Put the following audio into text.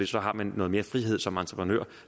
så har man noget mere frihed som entreprenør